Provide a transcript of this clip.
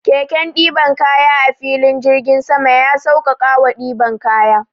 Keken ɗiban kaya a filin jirgin sama ya sauƙaƙawa ɗiban kaya.